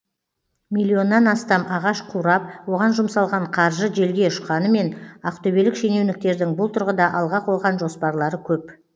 миллионнан астам ағаш қурап оған жұмсалған қаржы желге ұшқанымен ақтөбелік шенеуніктердің бұл тұрғыда алға қойған жоспарлары көп